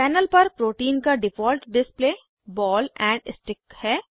panel पर protein का default display ball and stick है